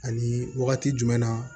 Ani wagati jumɛn na